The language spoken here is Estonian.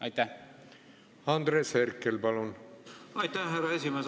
Aitäh, härra esimees!